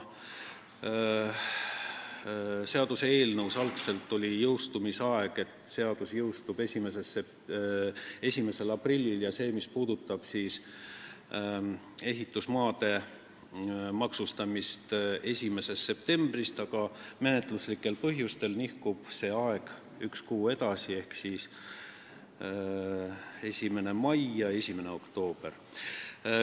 Seaduseelnõus oli algul jõustumise ajaks ette nähtud 1. aprill ja need sätted, mis puudutavad ehitusmaade maksustamist, oleksid pidanud jõustuma 1. septembrist, aga menetluslikel põhjustel nihkub aeg üks kuu edasi ehk tähtajad on 1. mai ja 1. oktoober.